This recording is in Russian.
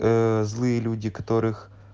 злые люди которых